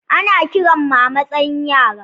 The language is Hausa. Ana kiran mu a matsayin yara.